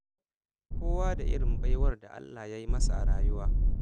Kowa da irin baiwar da Allah Ya yi masa a rayuwa.